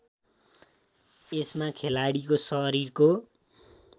यसमा खेलाडीको शरीरको